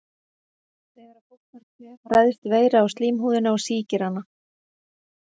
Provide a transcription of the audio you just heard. Þegar að fólk fær kvef ræðst veira á slímhúðina og sýkir hana.